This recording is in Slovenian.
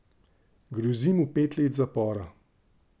Grozi mu pet let zapora.